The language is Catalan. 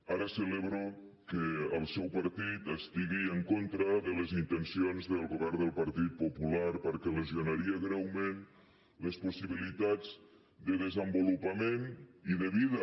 ara celebro que el seu partit estigui en contra de les intencions del govern del partit popular perquè lesionaria greument les possibilitats de desenvolupament i de vida